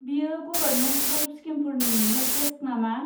बेयो government health स्किमफोरनि helpdesk नामा?